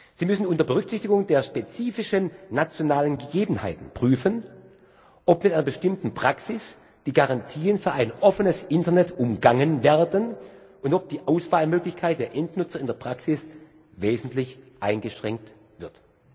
Sie müssen unter Berücksichtigung der spezifischen nationalen Gegebenheiten prüfen, ob mit einer bestimmten Praxis die Garantien für ein offenes Internet umgangen werden und ob die Auswahlmöglichkeit der Endnutzer in der Praxis wesentlich eingeschränkt wird.